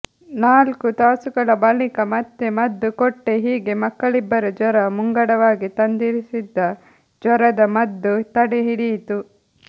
ನಾಲ್ಕು ತಾಸುಗಳ ಬಳಿಕ ಮತ್ತೆ ಮದ್ದು ಕೊಟ್ಟೆ ಹೀಗೆ ಮಕ್ಕಳಿಬ್ಬರ ಜ್ವರ ಮುಂಗಡವಾಗಿ ತಂದಿರಿಸಿದ್ದ ಜ್ವರದ ಮದ್ದು ತಡೆ ಹಿಡಿಯಿತು